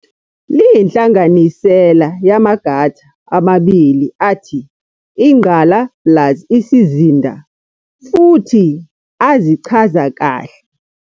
Liyinhlanganisela yamagata amabili athi, 'ingqala' plus 'isizinda', futhi azichaza kahle